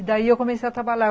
E daí eu comecei a trabalhar.